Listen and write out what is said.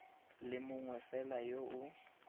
le mongwe fela yo o